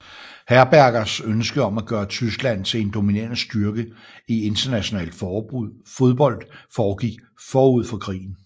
Herbergers ønske om at gøre Tyskland til en dominerende styrke i international fodbold foregik forud for krigen